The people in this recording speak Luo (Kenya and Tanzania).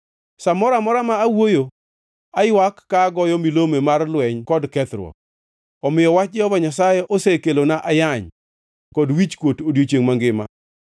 Sa moro amora ma awuoyo, aywak ka goyo milome mar lweny kod kethruok. Omiyo wach Jehova Nyasaye osekelona ayany kod wichkuot odiechiengʼ mangima.